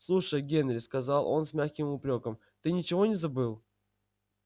слушай генри сказал он с мягким упрёком ты ничего не забыл